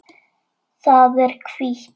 Það er hvítt.